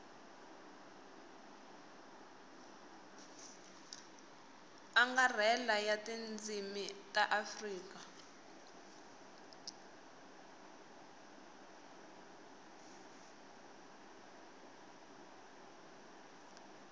angarhela ya tindzimi ta afrika